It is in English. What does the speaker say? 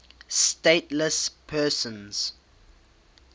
stateless persons